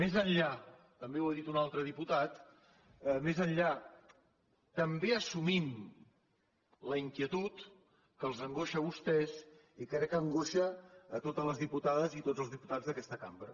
més enllà també ho ha dit un altre diputat més enllà també assumim la inquietud que els angoixa a vostès i que crec que angoixa totes les diputades i tots els diputats d’aquesta cambra